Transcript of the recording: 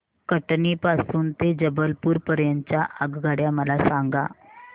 कटनी पासून ते जबलपूर पर्यंत च्या आगगाड्या मला सांगा